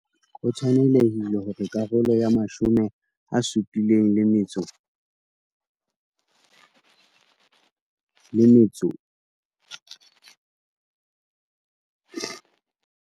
Ho tshwanehile hore karolo ya R75 milione.